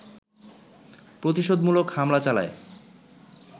প্রতিশোধমূলক হামলা চালায়